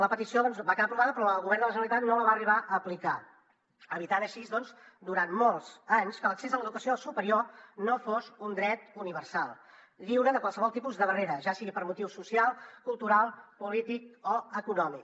la petició va quedar aprovada però el govern de la generalitat no la va arribar a aplicar evitant així doncs durant molts anys que l’accés a l’educació superior fos un dret universal lliure de qualsevol tipus de barrera ja sigui per motiu social cultural polític o econòmic